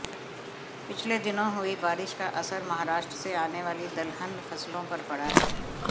पिछले दिनों हुई बारिश का असर महाराष्ट्र से आने वाली दलहन फसलों पर पड़ा है